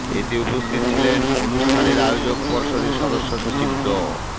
এতে উপস্থিত ছিলেন অনুষ্ঠানের আয়োজক পর্ষদের সদস্য সচিব ড